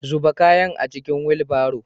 Zuba kayan a cikin wilbaro.